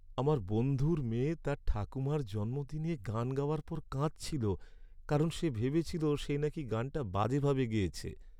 আমার বন্ধুর মেয়ে তার ঠাকুমার জন্মদিনে গান গাওয়ার পর কাঁদছিল কারণ সে ভেবেছিল সে নাকি গানটা বাজেভাবে গেয়েছে।